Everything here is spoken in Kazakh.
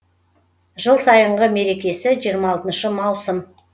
жыл сайынғы мерекесі жиырма алтыншы маусым